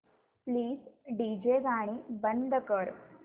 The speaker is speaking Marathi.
प्लीज डीजे गाणी बंद कर